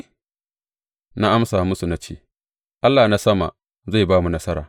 Na amsa musu na ce, Allah na sama zai ba mu nasara.